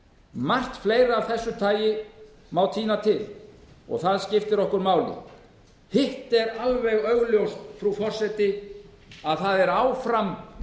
margt fleira af þessu tagi má tína til og það skiptir okkur máli hitt er alveg augljóst frú forseti að fram undan er áfram